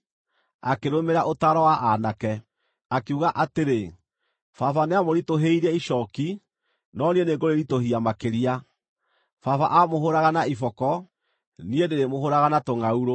akĩrũmĩrĩra ũtaaro wa aanake, akiuga atĩrĩ, “Baba nĩamũritũhĩirie icooki, no niĩ nĩngũrĩritũhia makĩria. Baba aamũhũũraga na iboko; niĩ ndĩrĩmũhũũraga na tũngʼaurũ.”